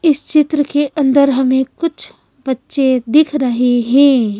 इस चित्र के अंदर हमें कुछ बच्चे दिख रहे हैं।